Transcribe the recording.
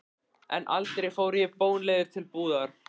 En aldrei fór ég bónleiður til búðar.